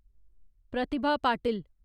Pratibha Patil